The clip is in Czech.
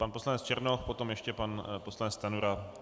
Pan poslanec Černoch, potom ještě pan poslanec Stanjura.